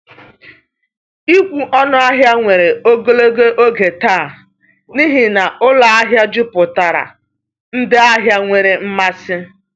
Ịkwụ ọnụ ahịa were ogologo oge taa n’ihi na ụlọ ahịa juputara ndị ahịa nwere mmasị.